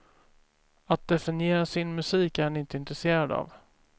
Att definiera sin musik är han inte intresserad av.